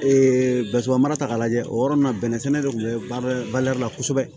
basibɔn mara ta k'a lajɛ o yɔrɔ nin na bɛnɛ sɛnɛ de kun bɛ kosɛbɛ